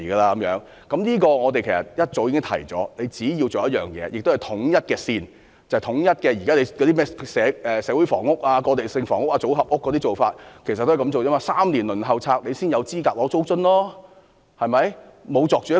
其實，我們早已提醒政府，只要實施統一劃線，統一現時社會房屋、過渡性房屋、組合屋的做法，一如輪候公屋3年才有資格享有租津。